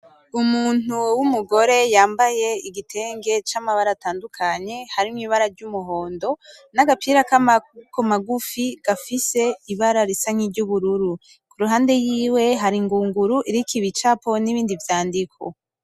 Umuntu w'umugore yambaye igitenge camabara atandukanye, harimwo ibara ry'umuhondo nagapira kamaboko magufi gafise ibara risa nki ry'ubururu. Kuruhande yiwe hari ingunguru iriko ibicapo nibindi vyandiko.